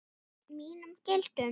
Mínum gildum.